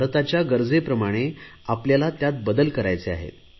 भारताच्या गरजेप्रमाणे आपल्याला त्यात बदल करायचे आहेत